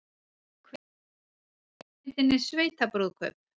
Hver leikstýrði kvikmyndinni Sveitabrúðkaup?